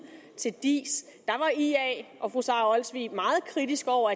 til diis var ia og fru sara olsvig meget kritiske over